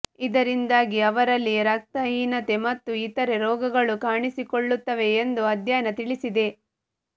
ಇದರಿಂದಾಗಿ ಅವರಲ್ಲಿ ರಕ್ತಹೀತನೆ ಮತ್ತು ಇತರೆ ರೋಗಗಳು ಕಾಣಿಸಿಕೊಳ್ಳುತ್ತವೆ ಎಂದು ಅಧ್ಯಯನ ತಿಳಿಸಿದೆ